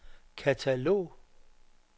katalog